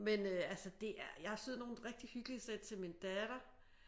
Men øh altså det er jeg har syet nogle rigtig hyggelige sæt til min datter